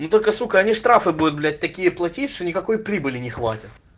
ну только сука они штрафы будут блять такие платить что никакой прибыли не хватит